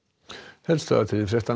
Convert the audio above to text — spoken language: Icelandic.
helstu atriði frétta